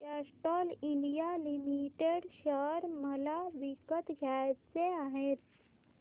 Castrol India limited share मला विकत घ्यायचे आहेत